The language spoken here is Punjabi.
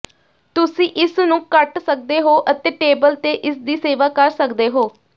ਤੁਸੀਂ ਇਸ ਨੂੰ ਕੱਟ ਸਕਦੇ ਹੋ ਅਤੇ ਟੇਬਲ ਤੇ ਇਸਦੀ ਸੇਵਾ ਕਰ ਸਕਦੇ ਹੋ